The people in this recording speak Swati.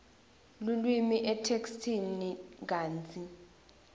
lulwimi etheksthini kantsi